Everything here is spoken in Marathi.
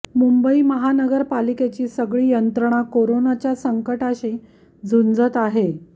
मुंबई महापालिकेची सगळी यंत्रणा कोरोनाच्या संकटाशी झुंजत आहे